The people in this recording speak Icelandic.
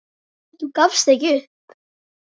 Þú gafst ekki upp.